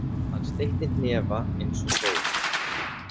Hann steytti hnefa eins og Þór.